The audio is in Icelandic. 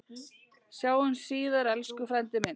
Sjáumst síðar, elsku frændi minn.